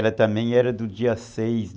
Ela também era do dia seis